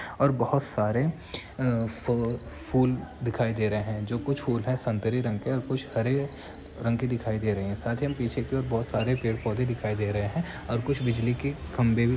और बोहोत सारे अं फ फूल दिखाई दे रहे हैं जो कुछ फूल हैं संतरे रंग के और कुछ हरे रंग के दिखाई दे रहे है साथ ही हम पीछे की और बहुत सारे पेड़ दिखाई दे रहे हैं और कुछ बिजली के खंबे भी --